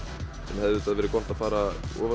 sem hefði verið gott að fara ofan